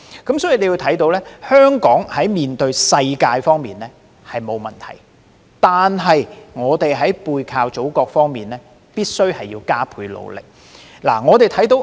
由此可見，香港在面向世界方面並無問題。然而，在背靠祖國方面，香港必須加倍努力。